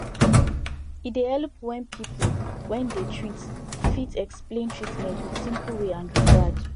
e dey helep when people when dey treat fit explain treatment with simple way and regard